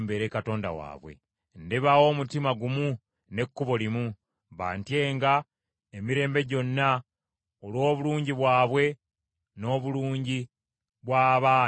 Ndibawa omutima gumu n’ekkubo limu, bantyenga emirembe gyonna, olw’obulungi bwabwe, n’obulungi bw’abaana abaliddawo.